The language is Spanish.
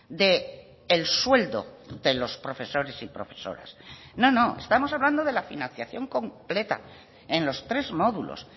del sueldo de los profesores y profesoras no no estamos hablando de la financiación completa en los tres módulos